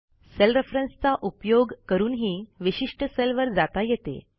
sale रेफरन्सचा उपयोग करूनही विशिष्ट सेलवर जाता येते